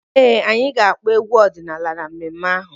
Ee, anyị ga-akpọ egwu ọdịnaala na mmemme ahụ.